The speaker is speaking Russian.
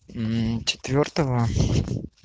четвёртого